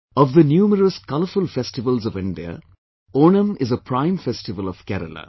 Of the numerous colourful festivals of India, Onam is a prime festival of Kerela